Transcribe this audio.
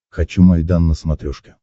хочу майдан на смотрешке